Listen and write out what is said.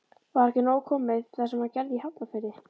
Var ekki nóg komið það sem hann gerði í Hafnarfirði?